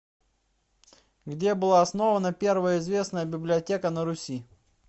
где была основана первая известная библиотека на руси